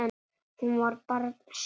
Hún var barn sjálf.